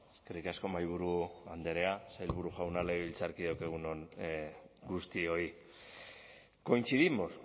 eskerrik asko mahaiburu andrea sailburu jauna legebiltzarkideok egun on guztioi coincidimos